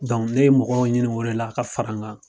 ne ye mɔgɔw ɲini o la ka fara n kan.